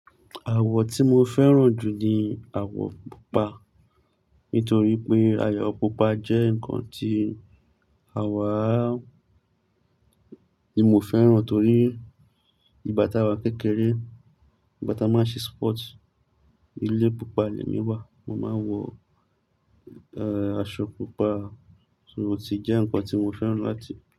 Àwọ̀ tí mo fẹ́ràn jù ni àwọ̀ pupa. Nítorí pé àwò pupa jẹ́ ǹkan tí àwa, tí mo fẹ́ràn torí ìgbà tá wa kékeré, ìgbá tá máa ń ṣe sport. Ilé pupa lẹ mí wà, mo máa ń wọ, aṣọ pupa. So, ó ti jẹ́ ǹkan tí mo fẹ́ràn láti.